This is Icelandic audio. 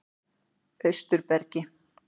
Austurbergi